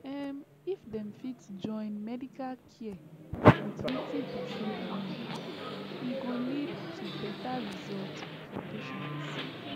um if dem fit join medical care with wetin person believe e go lead to better result for patients